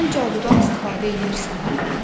Sən cadudan istifadə eləyirsən?